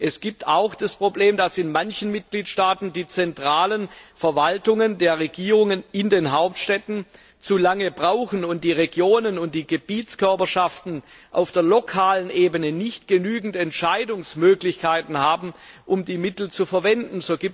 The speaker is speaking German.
Es gibt auch das Problem, dass in machen Mitgliedstaaten die zentralen Verwaltungen der Regierungen in den Hauptstädten zu lange brauchen und die Regionen und die Gebietskörperschaften auf der lokalen Ebene nicht genügend Entscheidungsmöglichkeiten haben, um die Mittel zu verwenden.